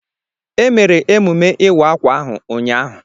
E mere emume ịwa ákwà ahụ ụnyahụ.